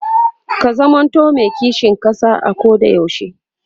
ka zamanto me kishin ƙasa a Koda yaushe